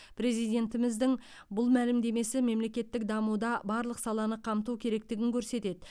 президентіміздің бұл мәлімдемесі мемлекеттік дамуда барлық саланы қамту керектігін көрсетеді